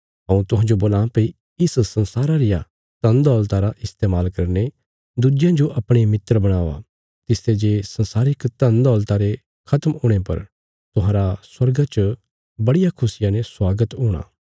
हऊँ तुहांजो बोलां भई इस संसारा रिया धन दौलता रा इस्तेमाल करीने दुज्जेयां जो अपणे मित्र बणावा तिसते जे सांसारिक धन दौलता रे खत्म हुणे पर तुहांरा स्वर्गा च बड़िया खुशिया ने स्वागत हूणा